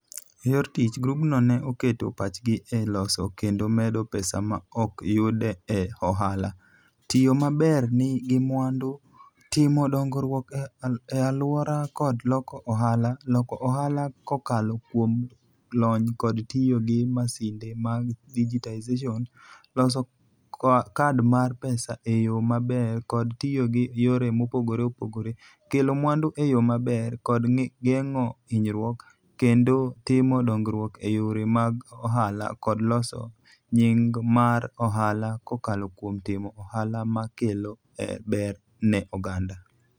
E yor tich, grupno ne oketo pachgi e loso kendo medo pesa ma ok yud e ohala, tiyo maber gi mwandu, timo dongruok e alwora kod loko ohala, loko ohala kokalo kuom lony kod tiyo gi masinde mag digitization, loso kad mar pesa e yo maber kod tiyo gi yore mopogore opogore, kelo mwandu e yo maber kod geng'o hinyruok, kendo timo dongruok e yore mag ohala kod loso nying mar ohala kokalo kuom timo ohala ma kelo ber ne oganda.